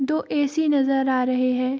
दो ए.सी. नजर आ रहे है।